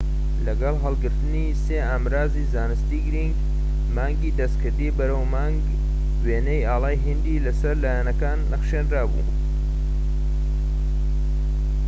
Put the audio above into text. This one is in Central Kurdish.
لەگەڵ هەلگرتنی سێ ئامڕازیی زانستیی گرنگ مانگی دەستکردی بەرەو مانگ وێنەی ئاڵای هیندی لەسەر لایەکانی نەخشێنرابوو